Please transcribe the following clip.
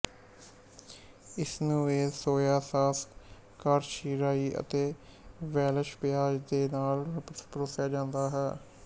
ਇਸਨੂੰ ਇਹ soya sauce ਕਾਰਾਸ਼ੀ ਰਾਈ ਅਤੇ ਵੈਲਸ਼ ਪਿਆਜ਼ ਦੇ ਨਾਲ ਪਰੋਸਿਆ ਜਾਂਦਾ ਹੈ